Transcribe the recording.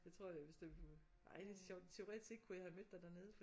Det tror jeg ej det er sjovt teoretisk set så kunne jeg have mødt dig dernede